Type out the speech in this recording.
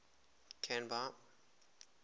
canby